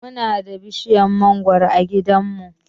Muna da bishiyar mangoro a gidanmu.